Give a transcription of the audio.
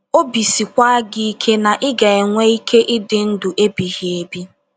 Obi siekwa gị ike na ị ga - enwe ike ịdị ndụ ebighị ebi.